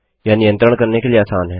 यह नियंत्रित करने के लिए आसान है